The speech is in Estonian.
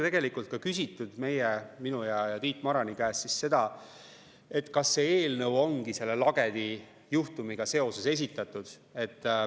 Tegelikult on minu ja Tiit Marani käest küsitud ka seda, kas see eelnõu ongi selle Lagedi juhtumiga seoses esitatud.